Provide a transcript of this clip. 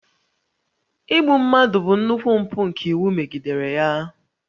Igbu mmadụ bụ nnukwu mpụ nke iwu megidere ya